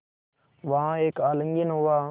वहाँ एक आलिंगन हुआ